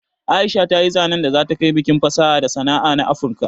Aisha ta yi zanen da za ta kai bikin fasaha da sana'a na afurka